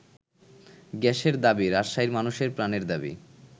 গ্যাসের দাবি রাজশাহীর মানুষের প্রাণের দাবি।